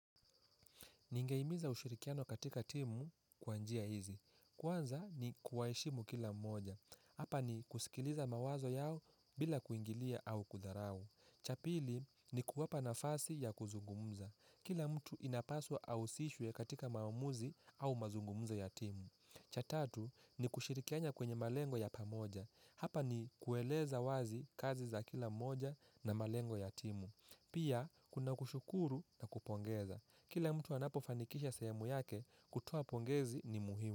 Ningehimiza ushirikiano katika timu kwa njia hizi. Kwanza ni kuwaheshimu kila mmoja. Hapa ni kusikiliza mawazo yao bila kuingilia au kudharau. Cha pili ni kuwapa nafasi ya kuzungumza. Kila mtu inapaswa ahusishwe katika maamuzi au mazungumzo ya timu. Cha tatu ni kushirikiana kwenye malengo ya pamoja. Hapa ni kueleza wazi kazi za kila mmoja na malengo ya timu. Pia kuna kushukuru na kupongeza. Kila mtu anapo fanikisha sehemu yake, kutoa pongezi ni muhimu.